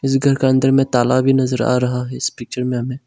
घर का अंदर में ताला भी नजर आ रहा है इस पिक्चर में हमें।